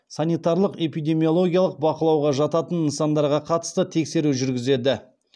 санитарлық эпидемологиялық бақылауға жататын нысандарға қатысты тексеру жүргізеді